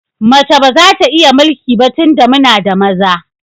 Mace ba za ta iya mulki ba tunda muna da maza.